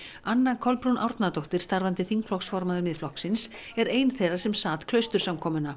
anna Kolbrún Árnadóttir starfandi þingflokksformaður Miðflokksins er ein þeirra sem sat